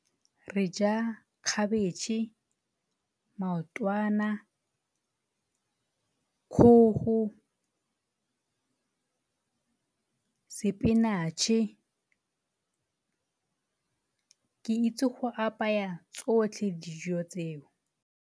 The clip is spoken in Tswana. Re ja cabbage, maotwana, kgogo, spinach-e. Ke itse go apaya tsotlhe dijo tseo.